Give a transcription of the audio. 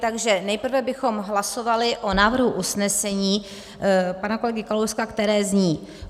Takže nejprve bychom hlasovali o návrhu usnesení pana kolegy Kalouska, které zní: